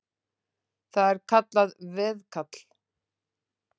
Það er kallað veðkall.